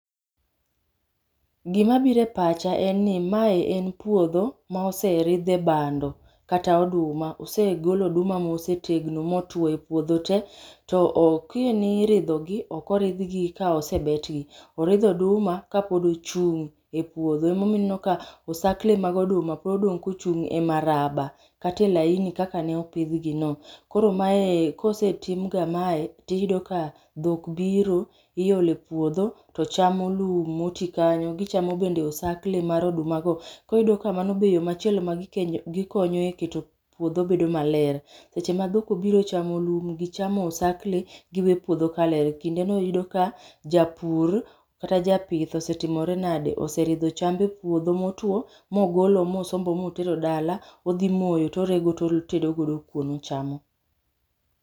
Gima biro e pacha en ni mae en puodho ma oseridhe bando kata oduma. Osegol oduma mosetegno motwo e puodho te. To kane iridhogi to ok oridhgi ka osebetgi, rdh oduma kapod gichung' e puodho ema omiyo ineno ka osakle mag oduma pod odong' kochung' e maraba kata e laini kaka ne opidhgi. Koro ka osetimga kamae to iyudo ka dhok biro ilo e puodho to chamo lum motii kanyo. Gichamo bende osakle mag odumago koyudo kamano be machielo be magikonyo e keto puodho bedo maler. Seche ma dhok obiro chamo lum gi chamo osakle giweyo puodho kaler. Kinde no yudo ka japur kata japith osetimore nadi, oseridho cham e puodho motuo mogolo mosombo motero dala odhi moyo to orego otedo godo kuon ochamo.